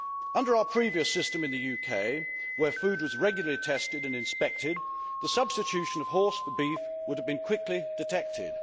Under our previous system in the UK, where food was regularly tested and inspected, the substitution of horse for beef would have been quickly detected.